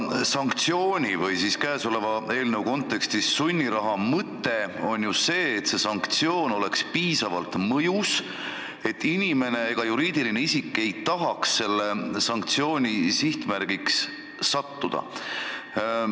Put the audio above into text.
Sanktsiooni või käesoleva eelnõu kontekstis on sunniraha mõte ju see, et see oleks piisavalt mõjus, et inimene ega juriidiline isik ei tahaks selle sihtmärgiks sattuda.